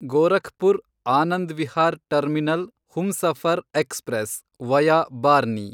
Gorakhpur Anand Vihar terminal Humsafar express, via Barni